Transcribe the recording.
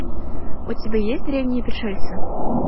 у тебя есть древние пришельцы